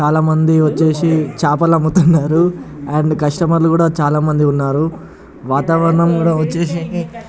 చాలా మంది వచ్చేసి చేపలు అమ్ముతున్రు అండ్ కస్టమర్ లు కూడా చాలా మంది ఉన్నారు వాతావరణం కూడా వచ్చేసి --